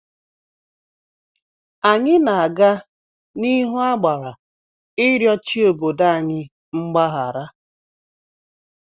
Anyị na-aga n'ihu agbara ịrịọ chi obodo anyị mgbahara.